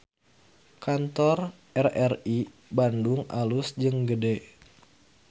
Kantor RRI Bandung alus jeung gede